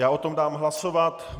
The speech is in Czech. Já o tom dám hlasovat.